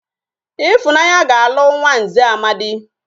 Ifunanya ga alu nwa nze Nnamdi